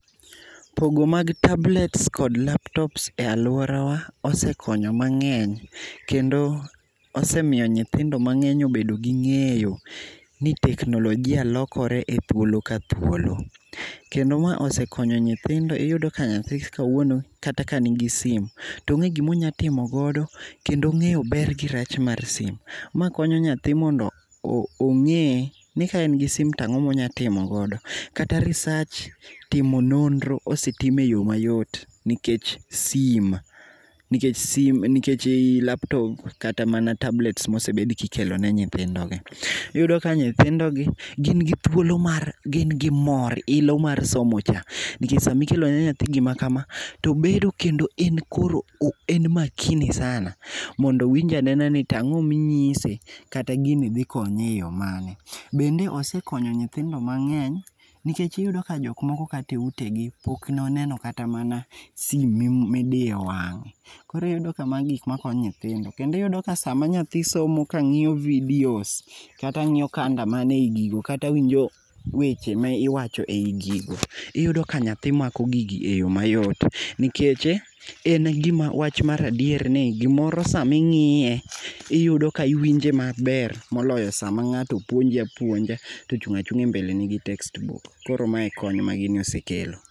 Pogo mag tablets[cs kod laptops e aluora wa osekonyo mangeny kendo osemiyo nyithindo mangeny obedo gi ngeyo ni teknolojia lokore ethuolo ka thuolo. Kendo ma osekonyo nyithindo ,iyudo ka nyathi kawuono kata ka nigi simi tonge gima onya timo godo kendo ongeyo ber gi rach mar simu. Ma konyo nyathi mondo onge ni kaen gi simu to ango monya timo godo. Kata research, timo nonro osetim e yoo mayot nikech si, nikech sim, nikech laptop kata mana tablet mosebed kikelo ne nyithindo gi. Iyudo ka nyithindo gi gin gi thuolo mar, gin gi mor, ilo mar somo cha nikech kikelo ne nyathi gima kama to bedo kendo en koro, en makini sana mondo owinj anena ni ango minyise kata gini dhi konye e yo mane. Bende osekonyo nyithindo mangeny nikech iyudo ka jok moko kata e utegi pok oneno kata simu midiyo wange, koro iyudo ka magi gikma konyo nyithindo kendo iyudo ka sama nyathi somo kangiyo videos, kata ngiyo kanda manie gigo kata winjo weche ma iwacho ei gigo, iyudo ka nyathi mako gigi e yoo mayot nikech en gima, wach mar adier ni gimoro sama ingiye, iyudo ka iwinje maber moloyo sama ngato puonji aouonja tochung achunga e mbeleni gi textbook